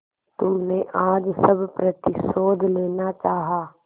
तुमने आज सब प्रतिशोध लेना चाहा